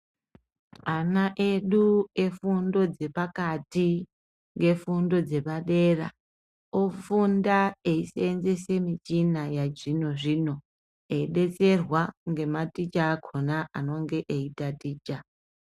Ana edu efundo dzepakati ngefundo dzepadera ofunda wisevenzesa michina yechizvino zvino widetserwa nematicha akona anenge eitaticha.